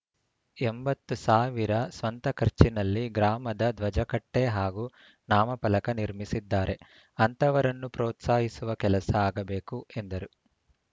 ಎಂಬತ್ತು ಸಾವಿರ ಸ್ವಂತ ಖರ್ಚಿನಲ್ಲಿ ಗ್ರಾಮದ ಧ್ವಜಕಟ್ಟೆಹಾಗೂ ನಾಮಫಲಕ ನಿರ್ಮಿಸಿದ್ದಾರೆ ಅಂತವರನ್ನು ಪ್ರೋತ್ಸಾಹಿಸುವ ಕೆಲಸ ಆಗಬೇಕು ಎಂದರು